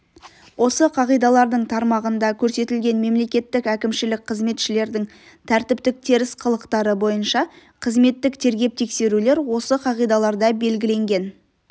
осы қағидалардың тармағында көрсетілген мемлекеттік әкімшілік қызметшілердің тәртіптік теріс қылықтары бойынша қызметтік тергеп-тексерулер осы қағидаларда белгіленген